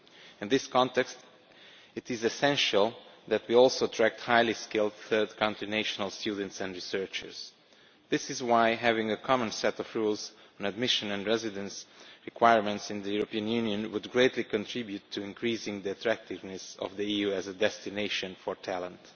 In this context, it is essential that we also attract highly skilled third country national students and researchers. This is why having a common set of rules on admission and residence requirements in the European Union would greatly contribute to increasing the attractiveness of the EU as a destination for talent.